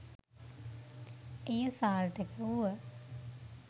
එය සාර්ථක වුව